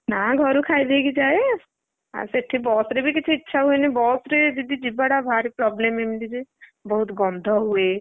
ନା ଘରୁ ଖାଇ ଦେଇକି ଯାଏ। ଆଉ ସେଠି ବସ ରେ ବି କିଛି ଇଚ୍ଛା ହୁଏନି ବସ ରେ ଯଦି ଯିବ ଟା ଭାରି problem ଏମିତି ଯେ ବହୁତ୍ଗନ୍ଧ ହୁଏ।